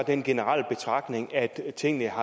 en generel betragtning at tingene